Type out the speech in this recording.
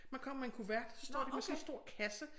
Man kommer med en kuvert så står de med sådan en stor kasse